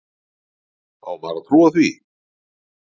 Á maður að trúa því?